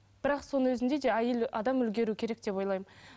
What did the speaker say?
бірақ соның өзінде де әйел адам үлгеру керек деп ойлаймын